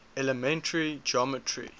elementary geometry